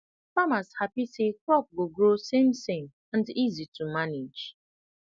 farmers happy say crop go grow samesame and easy to manage